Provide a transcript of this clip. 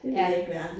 Det ved jeg ikke hvad er